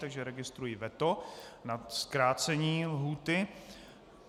Takže registruji veto na zkrácení lhůty.